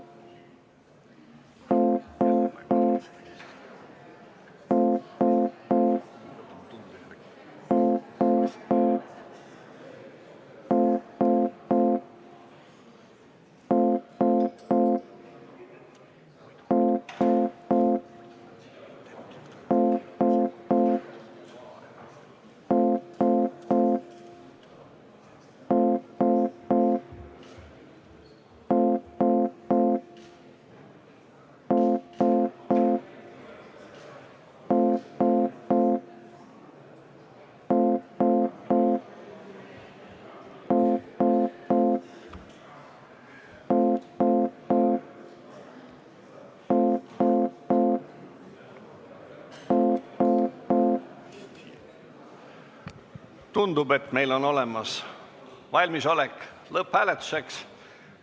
Tundub, et oleme valmis lõpphääletuseks.